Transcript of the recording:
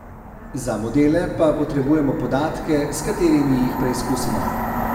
Za modele pa potrebujemo podatke, s katerimi jih preizkusimo.